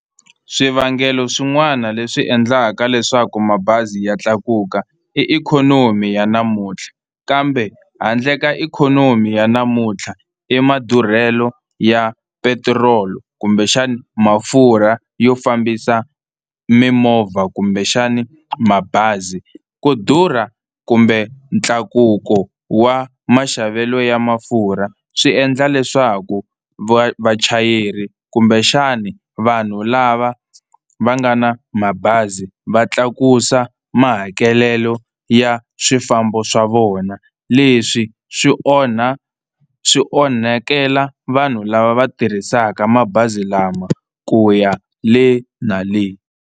Swivangelo swin'wana leswi endlaka leswaku mabazi ya tlakuka i ikhonomi ya namuntlha, kambe handle ka ikhonomi ya namuntlha i madurhelo ya petrol kumbexana mafurha yo fambisa mimovha kumbexani mabazi. Ku durha kumbe ntlakuko wa maxavelo ya mafurha swi endla leswaku vachayeri kumbexani vanhu lava va nga na mabazi va tlakusa mahakelelo ya swifambo swa vona. Leswi swi onha swi onhakela vanhu lava va tirhisaka mabazi lama ku ya le na le.